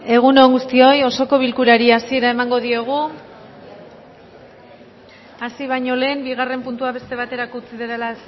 egun on guztioi osoko bilkurari hasiera emango diogu hasi baino lehen bigarren puntua beste baterako utzi dela